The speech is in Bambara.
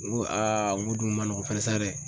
N ko n k'o dun ma nɔgɔn sa dɛ.